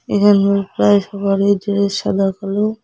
এখানে প্রায় সবারই ড্রেস সাদা কালো।